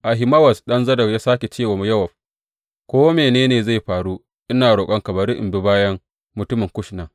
Ahimawaz ɗan Zadok ya sāke ce wa Yowab, Ko mene ne zai faru, ina roƙonka bari in bi bayan mutumin Kush nan.